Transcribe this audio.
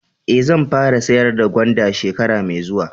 Eh, zan fara sayar da gwanda shekara mai zuwa.